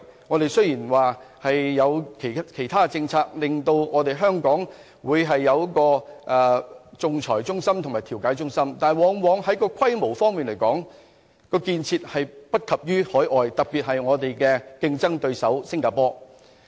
我們雖然有其他的政策推動香港成為仲裁及調解中心，但就規模來說，相關建設往往不及海外，特別是我們的競爭對手新加坡。